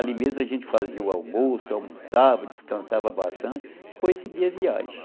Ali mesmo a gente fazia o almoço, almoçava, descansava bastante, depois seguia a viagem.